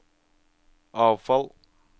avfall